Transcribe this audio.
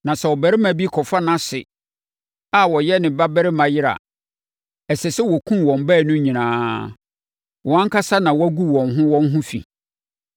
“ ‘Na sɛ ɔbarima bi kɔfa nʼase a ɔyɛ ne babarima yere a, ɛsɛ sɛ wɔkum wɔn baanu no nyinaa; wɔn ankasa na wɔagu wɔn ho wɔn ho fi.